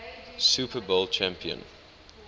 super bowl champion